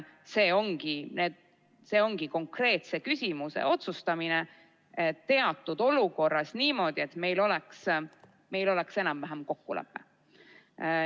See ongi konkreetse küsimuse otsustamine teatud olukorras niimoodi, et meil oleks enam-vähem kokkulepe.